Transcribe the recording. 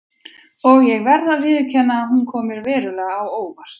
Og ég verð að viðurkenna að hún kom mér verulega á óvart.